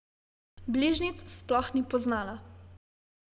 Bližnjic sploh ni poznala.